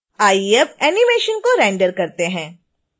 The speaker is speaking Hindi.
आइए अब एनीमेशन को रेंडर करते हैं